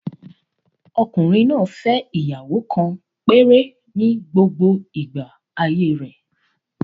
Ọkùnrin náà fẹ́ ìyàwó kan péré ni gbogbo igba ayé rẹ̀